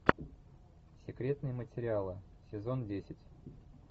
секретные материалы сезон десять